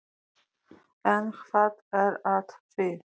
En hvað er að því?